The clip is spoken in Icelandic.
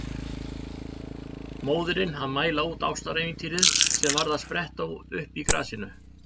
Móðirin að mæla út ástarævintýrið sem var að spretta upp í grasinu.